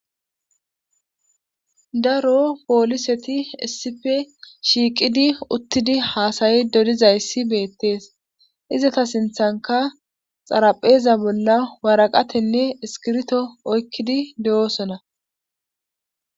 daro pooliseti essife shiiqidi uttidi haasayi dodizayssi beettees izata sinthanka xarapheeza bolla waraqatenne iskirito oykkidi de7oosona